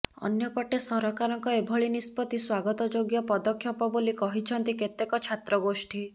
ଅନ୍ୟପଟେ ସରକାରଙ୍କ ଏଭଳି ନିଷ୍ପତ୍ତି ସ୍ୱାଗତଯୋଗ୍ୟ ପଦକ୍ଷେପ ବୋଲି କହିଛନ୍ତି କେତେକ ଛାତ୍ରଗୋଷ୍ଠୀ